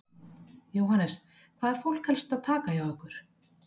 Jóhannes: Hvað er fólk helst að taka hjá ykkur?